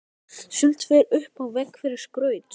Sumt fer upp á vegg til skrauts.